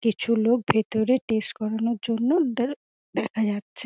কিছু লোক ভিতরে টেস্ট করানোর জন্য ওদের দেখা যাচ্ছে।